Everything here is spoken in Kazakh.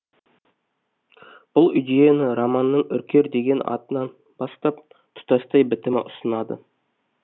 бұл идеяны романның үркер деген атынан бастап тұтастай бітімі ұсынады